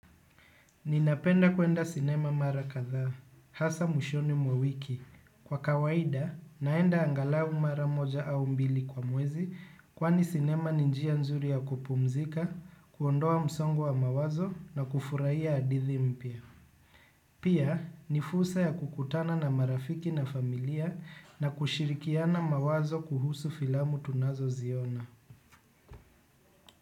Ninapenda kuenda sinema mara kadhaa, hasa mwishoni mwa wiki. Kwa kawaida, naenda angalau mara moja au mbili kwa mwezi kwani sinema ni njia nzuri ya kupumzika, kuondoa msongo wa mawazo na kufurahia hadithi mpya. Pia, ni fursa ya kukutana na marafiki na familia na kushirikiana mawazo kuhusu filamu tunazoziona.